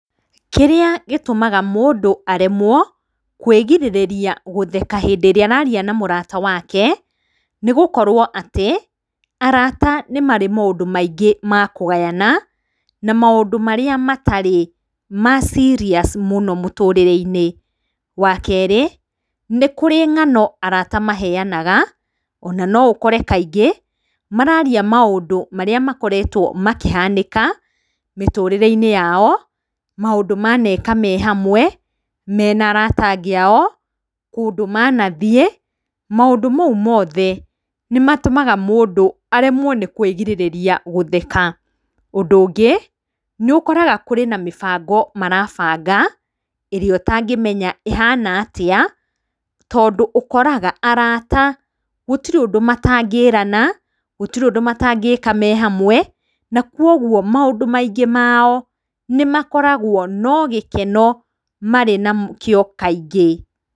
Kĩrĩa gĩtũmaga mũndũ aremwo kwĩgĩrĩrĩria hĩndĩ ĩrĩa ararĩa na mũrata wake, nĩ gũkorwo atĩ, arata nĩ marĩ na maũndũ maingĩ ma kũgayana na marĩa matarĩ ma serious mũno mũtũrĩre-inĩ. Wa kerĩ, nĩ kũrĩ ng'ano arata maheanaga ona no ũkore kaingĩ mararia maũndũ marĩa makoretwo makĩhanĩka mĩtũrĩre-inĩ yao, maũndũ maneka me hamwe me na arata angĩ ao, kundũ manathiĩ , maũndũ mau moothe, nĩ matũmaga mũndũ aremwo nĩ kwĩgirĩrĩria gũtheka. Ũndũ ũngĩ nĩ ũkoraga kũrĩ na mĩbango marabanga, ĩrĩa ũtangĩmenya ĩhana atĩa, tondũ ũkoraga arata gũtĩrĩ ũndũ matangĩrana, gũtirĩ ũndũ matangĩka me hamwe, na kũguo maũndũ maingĩ mao nĩ makoragwo no gĩkeno marĩ nakĩo kaingĩ.